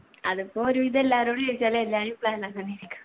അതിപ്പോ ഒരുവിധം എല്ലാരോടു ചോയ്ച്ചാലും എല്ലാരു ഇപ്പൊ